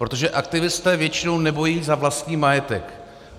Protože aktivisté většinou nebojují za vlastní majetek.